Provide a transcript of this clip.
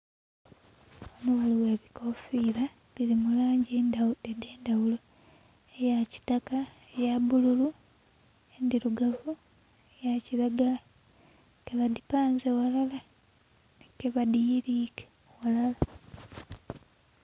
Ghano ghaliwo ebikofira biri mu langi edhendaghulo eyakitaka, eya bululu, endirugavu, eya kiragala kebadhipanze ghalala, kebadhiyilike ghalala